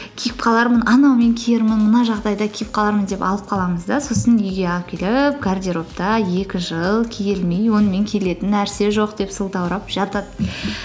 киіп қалармын анаумен киермін мына жағдайда киіп қалармын деп алып қаламыз да сосын үйге алып келіп гардеробта екі жыл киілмей онымен келетін нәрсе жоқ деп сылтаурап жатады